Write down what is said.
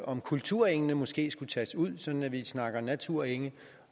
om kulturengene måske skulle tages ud sådan at vi snakker naturenge